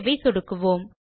ஐ சொடுக்குவோம்